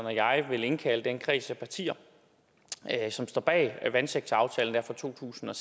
og jeg vil indkalde den kreds af partier som står bag vandsektoraftalen fra to tusind og